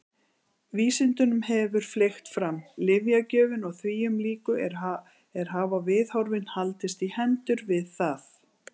Vísindunum hefur fleygt fram, lyfjagjöfin og þvíumlíku en hafa viðhorfin haldist í hendur við það?